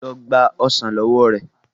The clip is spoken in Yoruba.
lọ gba ọsán ló wọ rẹ.